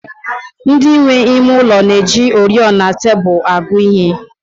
Ndị nwe ime ụlọ na-eji oriọna tebụl agụ ihe